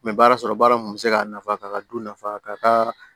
N bɛ baara sɔrɔ baara mun bɛ se k'a nafa k'a ka du nafa ka